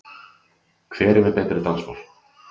Hver er með betri dansspor?